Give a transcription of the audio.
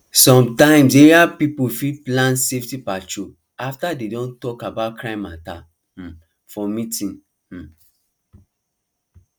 sometimes area people fit plan safety patrol after dem don talk about crime matter um for meeting um